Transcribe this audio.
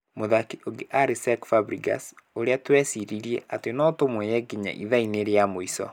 Mũthaki ũngĩ arĩ Cesc Fabregas, ũrĩa tweciririe atĩ no tũmuoye nginya ithaa-inĩ rĩa mũico.